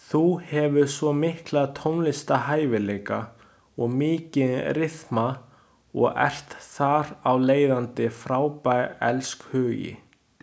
Þú hefur svo mikla tónlistarhæfileika og mikinn ryþma og ert þar af leiðandi frábær elskhugi.